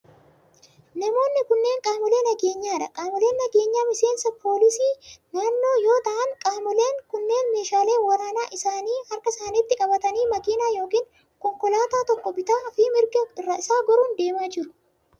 Namoonni kunneen qaamolee nageenyaa dha. Qaamoleen nageenyaa miseensa poolisii naannoo yoo ta'an qaamoleen kunneen meeshaalee waraanaa isaanii harka isaanitti qabatanii makiinaa yookin konkolaataa tokko bitaa fi mirga isaa goruun deemaa jiru.